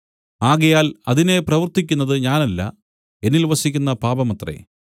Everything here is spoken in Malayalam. ആകയാൽ അതിനെ പ്രവർത്തിക്കുന്നതു ഞാനല്ല എന്നിൽ വസിക്കുന്ന പാപമത്രേ